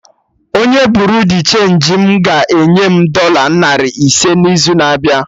Onye Buriu di chenji m ga-enye m dọla narị ise n'izu na-abịa